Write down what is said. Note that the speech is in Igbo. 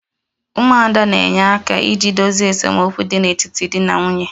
'umuada' na-enye aka iji dozie esemokwu dị n'etiti di na nwunye